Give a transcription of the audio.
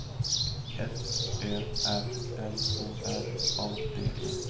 F Ö R L O R A D E